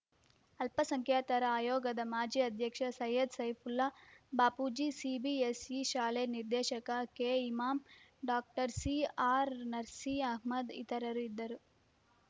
ಅಲ್ಪಸಂಖ್ಯಾತರ ಆಯೋಗದ ಮಾಜಿ ಅಧ್ಯಕ್ಷ ಸೈಯದ್‌ ಸೈಫುಲ್ಲಾ ಬಾಪೂಜಿ ಸಿಬಿಎಸ್‌ಇ ಶಾಲೆ ನಿರ್ದೇಶಕ ಕೆಇಮಾಂ ಡಾಕ್ಟರ್ ಸಿಆರ್‌ನರ್ಸಿ ಅಹಮ್ಮದ್‌ ಇತರರು ಇದ್ದರು